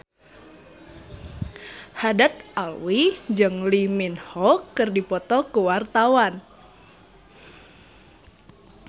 Haddad Alwi jeung Lee Min Ho keur dipoto ku wartawan